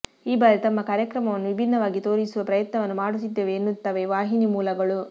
ಈ ಬಾರಿ ತಮ್ಮ ಕಾರ್ಯಕ್ರಮವನ್ನು ವಿಭಿನ್ನವಾಗಿ ತೋರಿಸುವ ಪ್ರಯತ್ನವನ್ನು ಮಾಡುತ್ತಿದ್ದೇವೆ ಎನ್ನುತ್ತವೆ ವಾಹಿನಿ ಮೂಲಗಳು